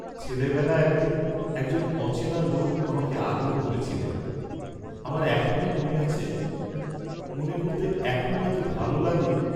ছেলে বেলা এক দিন একজন অচেনা লােক আমাকে আদর করেছিলেন, আমার এখনাে মনে আছে, মনে করতে এখনো এত ভাল লাগে!